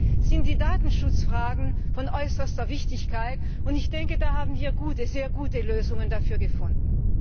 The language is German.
Deswegen sind die Datenschutzfragen von äußerster Wichtigkeit, und ich denke, wir haben sehr gute Lösungen dafür gefunden.